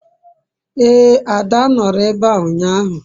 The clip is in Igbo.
ee, ada noro ebe a unyahu